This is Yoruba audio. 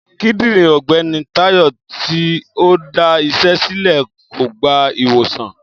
Kídìrín ògbéni Táyò tí ọ dá isé sílè kò gba ìwòsàn